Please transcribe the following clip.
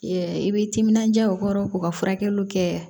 i bɛ timinandiya o kɔrɔ k'u ka furakɛliw kɛ